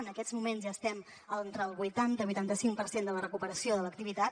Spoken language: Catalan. en aquests moments ja estem entre el vuitanta vuitanta cinc per cent de la recuperació de l’activitat